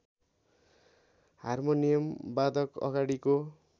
harmonium वादक अगाडिको